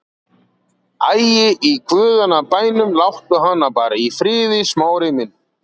Æ, í guðanna bænum, láttu hana bara í friði, Smári minn.